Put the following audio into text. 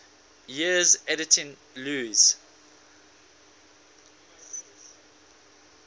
years editing lewes's